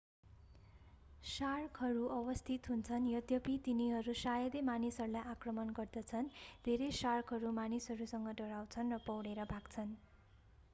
शार्कहरू अवस्थित हुन्छन् यद्यपि तिनीहरू शायदै मानिसहरूलाई आक्रमण गर्दछन् धेरै शार्कहरू मानिसहरूसँग डराउँछन् र पौडेर भाग्छन्